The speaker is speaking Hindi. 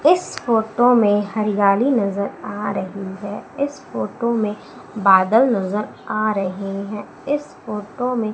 इस फोटो में हरियाली नजर आ रही है इस फोटो में बादल नजर आ रहें हैं इस फोटो में --